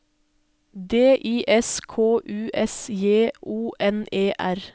D I S K U S J O N E R